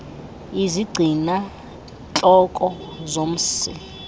izigcina ntloko zomsi